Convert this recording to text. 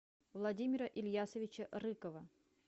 владимира ильясовича рыкова